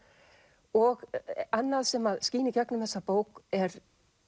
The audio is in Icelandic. og annað sem að skín í gegnum þessa bók er